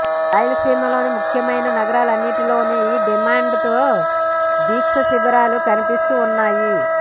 రాయలసీమలోని ముఖ్యమైన నగరాలన్నింటిలోనూ ఈ డిమాండ్తో దీక్షశిబిరాలు కనిపిస్తూ ఉన్నాయి